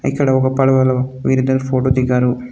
ఇక్కడ ఒక పడవలో వీరిద్దరు ఫోటో దిగారు.